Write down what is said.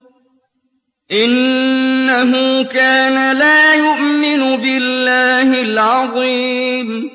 إِنَّهُ كَانَ لَا يُؤْمِنُ بِاللَّهِ الْعَظِيمِ